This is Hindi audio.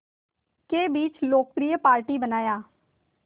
के बीच लोकप्रिय पार्टी बनाया